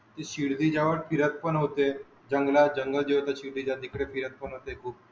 शिर्डी जवड फिरत पण होते जंगलात जन्मजोत होता शिर्डीच्या तिकडे फिरत पण होते